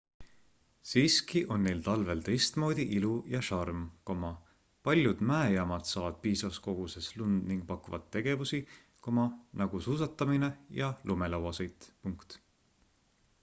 siiski on neil talvel teistmoodi ilu ja šarm paljud mäejaamad saavad piisavas koguses lund ning pakuvad tegevusi nagu suusatamine ja lumelauasõit